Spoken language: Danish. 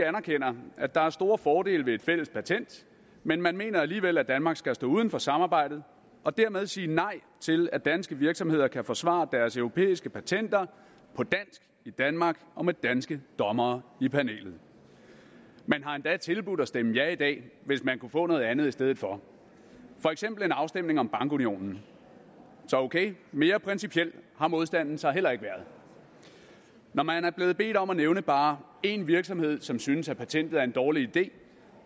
anerkender at der er store fordele ved et fælles patent men man mener alligevel at danmark skal stå uden for samarbejdet og dermed sige nej til at danske virksomheder kan forsvare deres europæiske patenter på dansk i danmark og med danske dommere i panelet man har endda tilbudt at stemme ja i dag hvis man kunne få noget andet i stedet for for eksempel en afstemning om bankunionen så okay mere principiel har modstanden så heller ikke været når man er blevet bedt om at nævne bare én virksomhed som synes at patentet er en dårlig idé